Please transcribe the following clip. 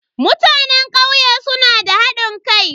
Mutanen kauye suna da hadin kai.